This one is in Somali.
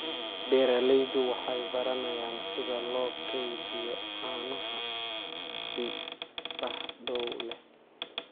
Beeraleydu waxay baranayaan sida loo kaydiyo caanaha si badbaado leh.